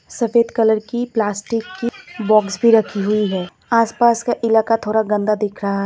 सफेद कलर की प्लास्टिक की बॉक्स भी रखी हुई है आसपास का इलाका थोड़ा गंदा दिख रहा है।